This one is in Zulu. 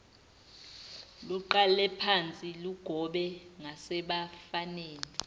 luqalephansi lugobe ngasebafaneni